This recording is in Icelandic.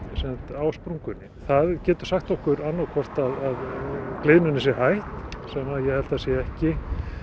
á sprungunni það getur sagt okkur annaðhvort að gliðnunin sé hæg sem að ég held að sé ekki